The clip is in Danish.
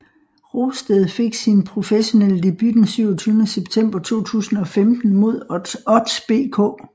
Rosted fik sin professionelle debut den 27 september 2015 mod Odds BK